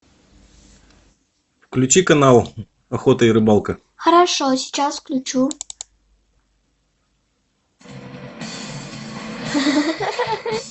включи канал охота и рыбалка